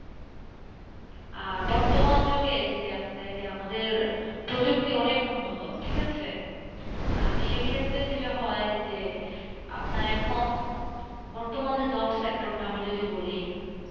আর বর্তমান যুগে যে আপনি দেখেন আমাদের প্রযুক্তি অনেক উন্নত ঠিক আছে? আর সে ক্ষেত্রে যেটা হয় যে আপনার এখন, বর্তমানে job sector টা আমি যদি বলি